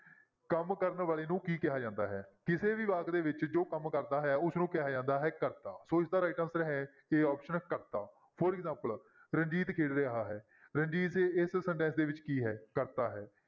ਕੰਮ ਕਰਨ ਵਾਲੇ ਨੂੰ ਕੀ ਕਿਹਾ ਜਾਂਦਾ ਹੈ, ਕਿਸੇ ਵੀ ਵਾਕ ਦੇ ਵਿੱਚ ਜੋ ਕੰਮ ਕਰਦਾ ਹੈ ਉਸਨੂੰ ਕਿਹਾ ਜਾਂਦਾ ਹੈ ਕਰਤਾ, ਸੋ ਇਸਦਾ right answer ਹੈ a option ਕਰਤਾ for example ਰਣਜੀਤ ਖੇਡ ਰਿਹਾ ਹੈ ਰਣਜੀਤ ਇਸ sentence ਦੇ ਵਿੱਚ ਕੀ ਹੈ ਕਰਤਾ ਹੈ।